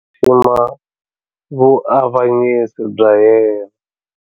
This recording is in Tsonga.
Xixima vuavanyisi bya yena.